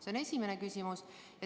See on esimene küsimus.